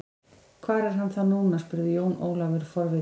Hvar er hann þá núna spurði Jón Ólafur forvitinn.